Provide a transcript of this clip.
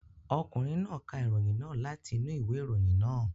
Ọkùnrin náà ka ìròyìn náà láti inú ìwé ìròyìn náà.